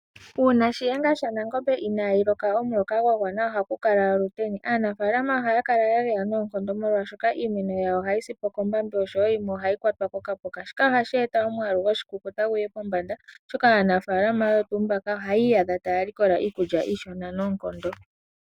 Uuna shiyenga sha Nangombe inayi loka omuloka gwa gwana nawa, ohaku kala oluteni. Aanafalama ohaya kala ya geya noonkondo molwashoka iimeno yawo ohayi sipo kombambi osho wo yimwe ohayi kwatwa ko kapuka, shika ohashi eta omwalu goshikukuta guye pombanda oshoka aanafalama oyo tuu mbaka ohaya iiyadha taya likola iikulya iishona noonkondo.